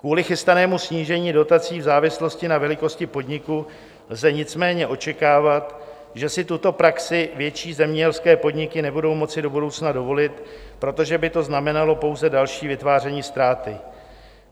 Kvůli chystanému snížení dotací v závislosti na velikosti podniku lze nicméně očekávat, že si tuto praxi větší zemědělské podniky nebudou moci do budoucna dovolit, protože by to znamenalo pouze další vytváření ztráty.